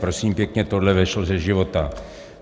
Prosím pěkně, tohle vzešlo ze života.